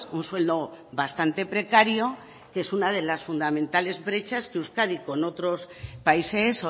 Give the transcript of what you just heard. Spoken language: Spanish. un sueldo bastante precario que es una de las fundamentales brechas que euskadi con otros países